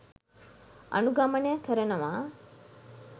අනුගමනය කරනවා.